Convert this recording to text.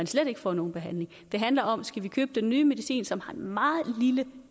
slet ikke får nogen behandling det handler om skal vi købe den nye medicin som har en meget lille